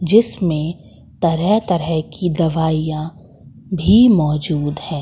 जिसमें तरह तरह की दवाइयां भी मौजूद हैं।